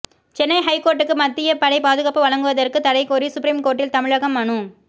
சென்னை ஹைகோர்ட்டுக்கு மத்திய படை பாதுகாப்பு வழங்குவதற்கு தடை கோரி சுப்ரீம்கோர்ட்டில் தமிழகம் மனு